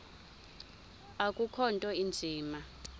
akukho nto inzima